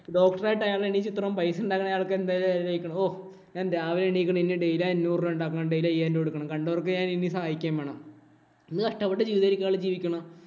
Doctor ആയിട്ട് അയാള് എണ്ണീറ്റ് ഇത്രേം പൈസ ഉണ്ടാക്കണമെങ്കില്‍ അയാള്‍ക്ക് എന്തോരു എഴുന്നേക്കണം. ഹോ, ഞാന്‍ രാവിലെ എണീക്കണം. ഇനി Daily അഞ്ഞൂറ് രൂപ ഉണ്ടാക്കണം. Daily അയ്യായിരം കൊടുക്കണം. കണ്ടവര്‍ക്ക് ഞാന്‍ ഇനി സഹായിക്കുകയും വേണം. എന്തു കഷ്ടപ്പെട്ട ജീവിതമായിരിക്കും അയാള് ജീവിക്കണത്.